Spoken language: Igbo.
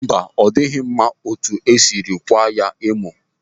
Mba, ọ dịghị mma etu isiri ịkwaa ya emo.